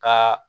Ka